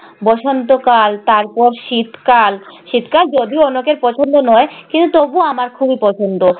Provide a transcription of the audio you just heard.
বসন্তকাল তারপর শীতকাল। শীতকাল যদিও অনেকের পছন্দ নয় কিন্তু তবু আমার খুবই পছন্দ।